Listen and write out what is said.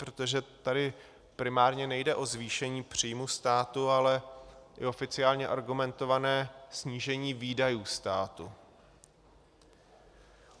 Protože tady primárně nejde o zvýšení příjmu státu, ale i oficiálně argumentované snížení výdajů státu.